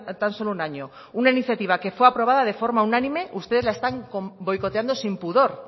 tan solo un año una iniciativa que fue aprobada de forma unánime ustedes la están boicoteando sin pudor